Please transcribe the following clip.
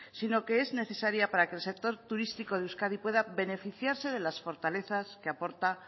sino que es necesaria para que el sector turístico de euskadi pueda beneficiarse de las fortalezas que aporta